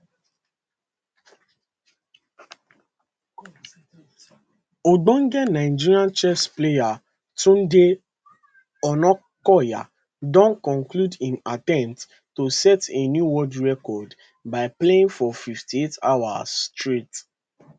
ogbonge nigerian chess player tunde onakoya don conclude im attempt to set a new world record by playing for 58 hours straight